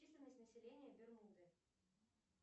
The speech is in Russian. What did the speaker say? численность населения бермуды